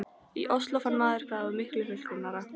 í Osló, fann maður hvað það var miklu fullkomnara.